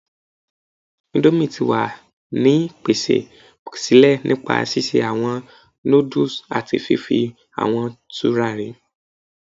indomie ti wa ni pese sile nipa sise awọn nudulú ati fifi awọn turari